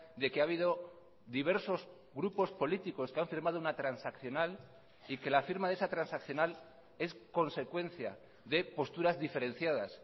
de que ha habido diversos grupos políticos que han firmado una transaccional y que la firma de esa transaccional es consecuencia de posturas diferenciadas